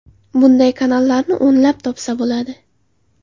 Bunday kanallarni o‘nlab topsa bo‘ladi.